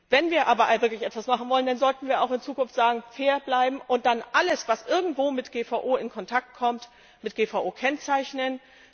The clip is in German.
Wenn wir aber wirklich etwas machen wollen, dann sollten wir auch in Zukunft sagen Fair bleiben und dann alles, was irgendwo mit GVO in Kontakt kommt, mit GVO kennzeichnen.